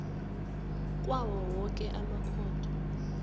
kwawo woke amakhotho